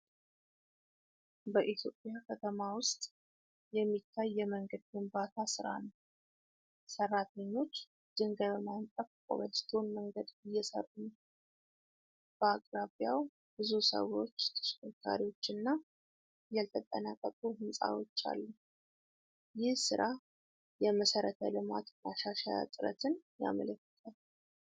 በኢትዮጵያ ከተማ ውስጥ የሚታይ የመንገድ ግንባታ ሥራ ነው። ሠራተኞች ድንጋይ በማንጠፍ ኮብልስቶን መንገድ እየሰሩ ነው። በአቅራቢያው ብዙ ሰዎች፣ ተሽከርካሪዎች እና ያልተጠናቀቁ ሕንፃዎች አሉ። ይህ ሥራ የመሰረተ ልማት ማሻሻያ ጥረትን ያመለክታል።